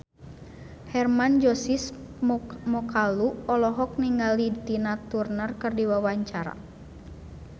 Hermann Josis Mokalu olohok ningali Tina Turner keur diwawancara